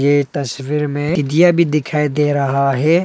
ये तस्वीर में टिड्डियां भी दिखाई दे रहा है।